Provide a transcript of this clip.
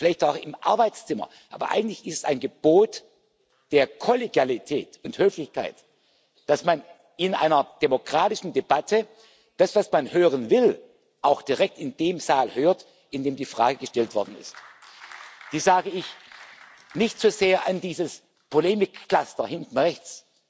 Vielleicht auch im Arbeitszimmer, aber eigentlich ist es ein Gebot der Kollegialität und Höflichkeit, dass man in einer demokratischen Debatte das, was man hören will, auch direkt in dem Saal hört, in dem die Frage gestellt worden ist. Dies sage ich nicht so sehr an dieses Polemikcluster hinten rechts,